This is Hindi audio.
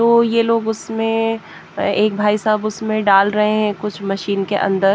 तो ये लोग उसमें एक भाई साहब उसमें डाल रहे हैं कुछ मशीन के अंदर--